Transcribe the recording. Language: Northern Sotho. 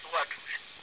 a se a fanago ka